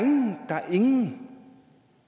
nogen